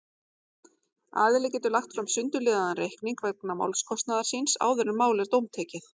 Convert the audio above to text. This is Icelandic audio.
Aðili getur lagt fram sundurliðaðan reikning vegna málskostnaðar síns áður en mál er dómtekið.